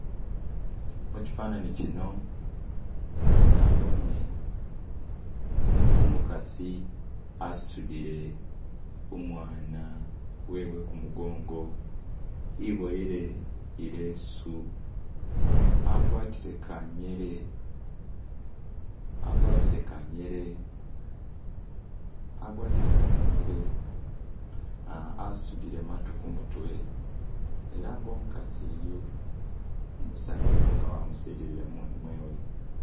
Muchifanani chino naboone umukasi asudile umwana wewe kumugongo iboyele ilesu agwatile kanyele, asudile matu kumutwe ela nga umukasi uyu, umusanyufu nga wamusilile mumoni mwewe.